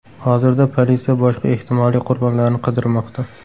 Hozirda politsiya boshqa ehtimoliy qurbonlarni qidirmoqda.